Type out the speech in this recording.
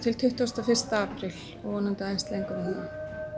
til tuttugasta og fyrsta apríl og vonandi aðeins lengur